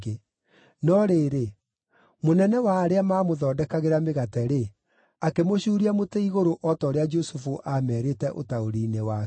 No rĩrĩ, mũnene wa arĩa maamũthondekagĩra mĩgate-rĩ, akĩmũcuria mũtĩ igũrũ o ta ũrĩa Jusufu aamerĩte ũtaũri-inĩ wake.